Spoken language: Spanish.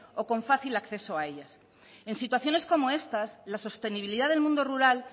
o con fácil acceso a ellas en situaciones como estas la sostenibilidad del mundo rural